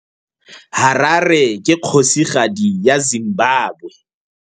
Harare ke kgosigadi ya Zimbabwe.